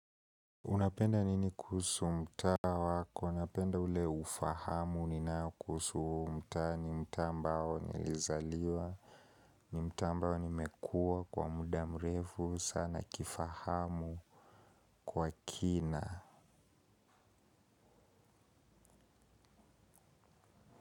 Unapenda nini kuhusu mtaa wako? Ninapenda ule ufahamu ninao kuhusu mtaa ambao nilizaliwa ni mtaa ambao nimekuwa kwa muda mrefu sana kifahamu kwa kina.